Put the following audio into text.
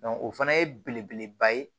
o fana ye belebeleba ye